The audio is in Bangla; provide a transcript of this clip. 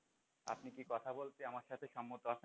আপনি কি কথা বলতে আমার সাথে সম্মত আছেন?